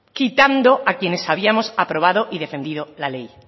quitando a quienes habíamos aprobado y defendido la ley